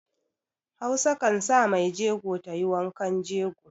Hausa kan sa maijego ta yi wankan jego